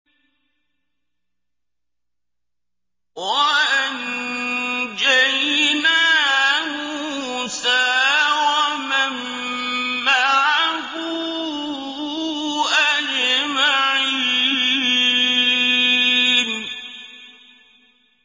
وَأَنجَيْنَا مُوسَىٰ وَمَن مَّعَهُ أَجْمَعِينَ